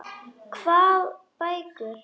Hvað bækur?